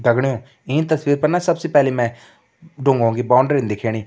दगड़ियों ईं तस्वीर पर न सबसे पहले मैं डुंगों की बाउंड्रीन दिखेणी।